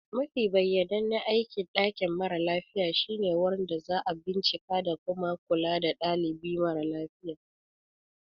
Mafi bayyanannen aikin dakin mara lafiya shine wurin da za a bincika da kuma kula da dalibi mara lafiya.